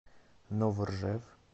новоржев